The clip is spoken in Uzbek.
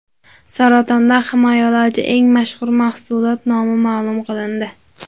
Saratondan himoyalovchi eng mashhur mahsulot nomi ma’lum qilindi.